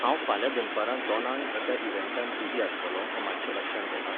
हांव फाल्यां दनपारां दोनांक एका इवँटांत बिझी आसतलों हे मात्शें लक्षांत घेता?